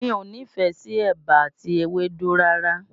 Mi ò nífẹ̀ẹ́ sí ẹ̀bà àti ewédú rárá